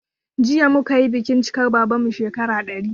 Jiya muka yi bikin cikar babanmu shekara 100